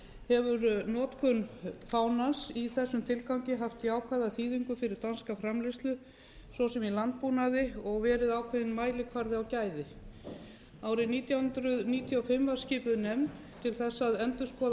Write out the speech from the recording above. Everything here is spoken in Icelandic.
hefur notkun fánans í þessum tilgangi haft jákvæða þýðingu fyrir danska framleiðslu svo sem í landbúnaði og verið ákveðinn mælikvarði á gæði árið nítján hundruð níutíu og fimm var skipuð nefnd til þess að endurskoða